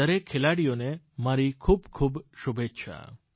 તે દરેક ખેલાડીઓને મારી ખૂબ ખૂબ શુભેચ્છા